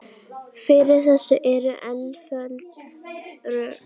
Fyrir þessu eru einföld rök.